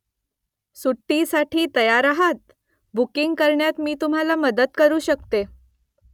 सुट्टीसाठी तयार आहात ? बुकिंग करण्यात मी तुम्हाला मदत करू शकते